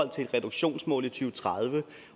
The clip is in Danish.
til et reduktionsmål i to tusind og tredive